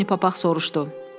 Pony Papaq soruşdu.